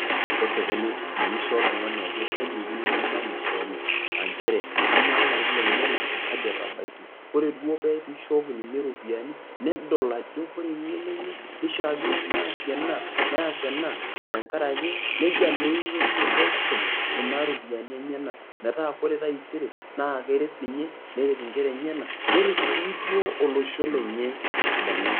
Kesipuni manyisho oltungani ajo kaja ikununo manyisho enye aa nchere ama larin lenyenak kaji etabakitia, ore duo peaku ishoki ninye ropiyani nedol ajo engeno enye kishaakino peasie ena neas ena a tenkaraki nejia naa ikununye peisho kuna ropiyiani enyenak metaa ore taisere neret nkera enyenak neret sii duo olosho lenye tesidano.